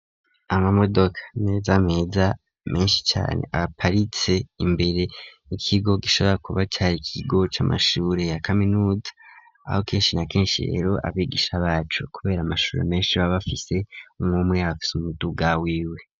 Amamodoka meza meza meshi cane aparitse imbere y'ikigo gishobora kuba cari ikigo c'amashuri ya kaminuza aho keshi na keshi rero abigisha bacu kubera amashuri meshi baba bafise umwumwe abafise umuduga wiwe.